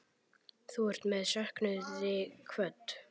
Þú ert með söknuði kvödd.